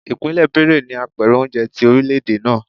Ipinle Benue ni apèrè oúnjẹ ti orilẹ-ede naa.